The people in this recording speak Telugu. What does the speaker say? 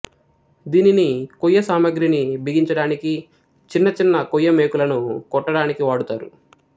దీనిని కొయ్య సామాగ్రి ని బిగించడానికి చిన్న చిన్న కొయ్య మేకులను కొట్టడానికి వాడుతారు